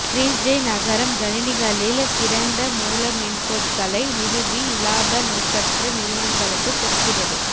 Trieste நகரம் கணினிகளில் திறந்த மூல மென்பொருட்களை நிறுவி இலாப நோக்கற்ற நிறுவனங்களுக்குக் கொடுக்கிறது